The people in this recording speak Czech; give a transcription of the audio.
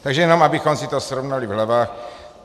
Takže jenom abychom si to srovnali v hlavách.